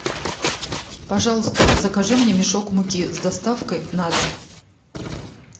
пожалуйста закажи мне мешок муки с доставкой на дом